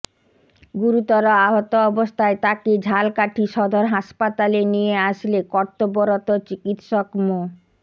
গুরুতর আহত অবস্থায় তাকে ঝালকাঠি সদর হাসপাতালে নিয়ে আসলে কর্তব্যরত চিকিৎসক মো